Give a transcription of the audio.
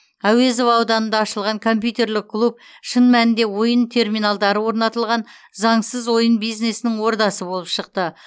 әуезов ауданында ашылған компьютерлік клуб шын мәнінде ойын терминалдары орнатылған заңсыз ойын бизнесінің ордасы болып шықты